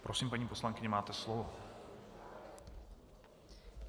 Prosím, paní poslankyně, máte slovo.